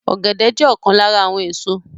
Ọ̀gẹ̀dẹ̀ jẹ́ ọ̀kan lára àwọn èso